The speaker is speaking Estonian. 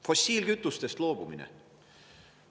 Fossiilkütustest loobumine.